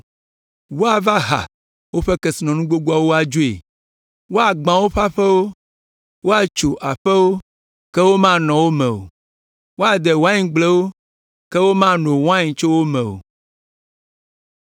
Woava ha woƒe kesinɔnu gbogboawo adzoe, woagbã woƒe aƒewo, woatso aƒewo, ke womanɔ wo me o, woade waingblewo, ke womano wain tso wo me o.”